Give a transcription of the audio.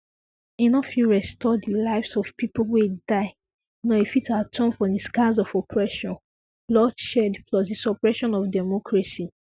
e no fit restore di lives of pipo wey die nor e fit atone for di scars of oppression bloodshed plus di suppression of democracy